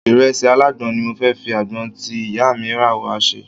Ìrẹsì alágbọ̀n ni mo fi àgbọn tí ìyá mi rà wá ṣe.